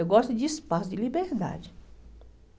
Eu gosto de espaço, de liberdade.